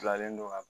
Bilalen don ka